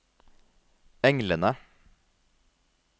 englene